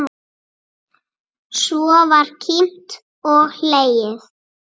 Svo var kímt og hlegið.